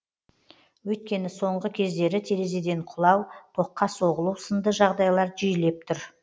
өйткені соңғы кездері терезеден құлау тоққа соғылу сынды жағдайлар жиілеп тұр